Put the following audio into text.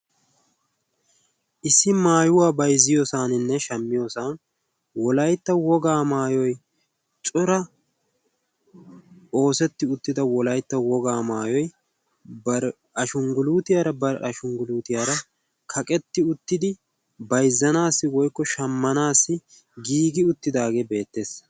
issi maayuwaa baizziyoosaaninne shammiyoosan wolaitta wogaa maayoi cora oosetti uttida wolaitta wogaa maayoi bar ashungguluutiyaara barashungguluutiyaara kaqetti uttidi baizzanaassi woikko shammanaassi giigi uttidaagee beettees.